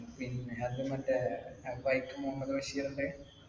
പിന്നെ അത് മറ്റേ വൈക്കം മുഹമ്മദ്‌ ബഷീറിന്‍റെ